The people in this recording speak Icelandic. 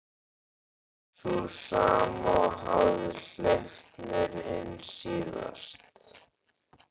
Sú sama og hafði hleypt mér inn síðast.